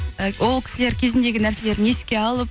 і ол кісілер кезіндегі нәрселерін еске алып